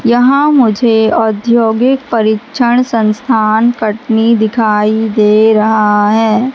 यहां मुझे औद्योगिक परिक्षण संस्थान कटनी दिखाई दे रहा है।